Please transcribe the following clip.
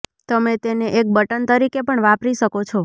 તમે તેને એક બટન તરીકે પણ વાપરી શકો છો